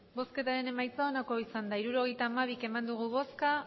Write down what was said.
emandako botoak hirurogeita hamabi bai